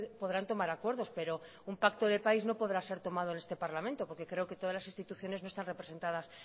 podrán tomar acuerdos pero un pacto de país no podrá ser tomado en este parlamento porque creo que todas las instituciones no están representadas